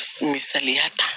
Misaliya ta